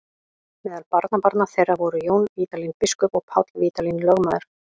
Meðal barnabarna þeirra voru Jón Vídalín biskup og Páll Vídalín lögmaður.